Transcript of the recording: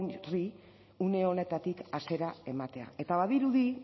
horri une honetatik hasiera ematea eta badirudi